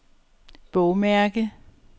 bogmærke